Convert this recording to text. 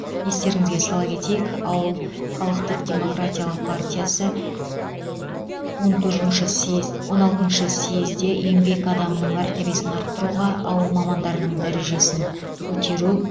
естеріңізге сала кетейік ауыл халықтық демократиялық партиясы он төртінші съез он алтыншы съезде еңбек адамының мәртебесін арттыруға ауыл мамандарының дәрежесін көтеру